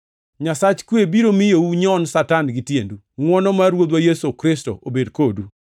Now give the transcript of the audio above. Nyasach kwe biro miyo unyon Satan gi tiendu. Ngʼwono mar Ruodhwa Yesu Kristo obed kodu.